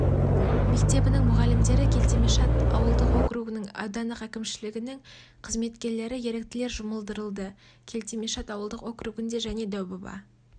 мектебінің мұғалімдері келтемашат ауылдық округінің аудандық әкімшілігінің қызметкерлері еріктілер жұмылдырылды келтемашат ауылдық округінде және дәубаба